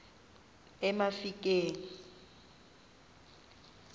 emafikeng